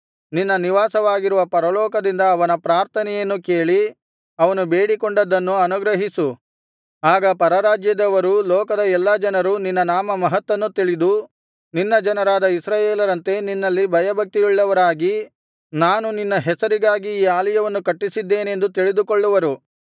ನಿನ್ನ ನಿವಾಸವಾಗಿರುವ ಪರಲೋಕದಿಂದ ಅವನ ಪ್ರಾರ್ಥನೆಯನ್ನು ಕೇಳಿ ಅವನು ಬೇಡಿಕೊಂಡದ್ದನ್ನು ಅನುಗ್ರಹಿಸು ಆಗ ಪರರಾಜ್ಯದವರೂ ಲೋಕದ ಎಲ್ಲಾ ಜನರು ನಿನ್ನ ನಾಮಮಹತ್ತನ್ನು ತಿಳಿದು ನಿನ್ನ ಜನರಾದ ಇಸ್ರಾಯೇಲರಂತೆ ನಿನ್ನಲ್ಲಿ ಭಯಭಕ್ತಿಯುಳ್ಳವರಾಗಿ ನಾನು ನಿನ್ನ ಹೆಸರಿಗಾಗಿ ಈ ಆಲಯವನ್ನು ಕಟ್ಟಸಿದ್ದೇನೆಂದು ತಿಳಿದುಕೊಳ್ಳುವರು